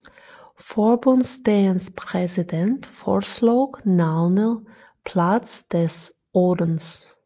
Forbundsdagens præsident foreslog navnet Platz des 18